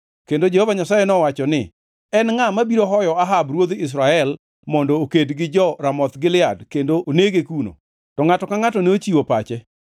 Kendo Jehova Nyasaye nowacho ni, ‘En ngʼa mabiro hoyo Ahab ruodh Israel mondo oked gi jo-Ramoth Gilead kendo onege kuno?’ “To ngʼato ka ngʼato nochiwo pache.